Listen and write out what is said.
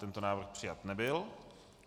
Tento návrh přijat nebyl.